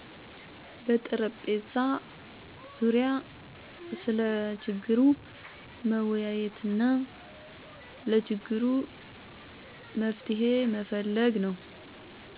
በጠረጴዛ ዙሪያ ስለ ችግሩ መወያየትና ለችግሩ መፍትሄ መፈለግ ነው።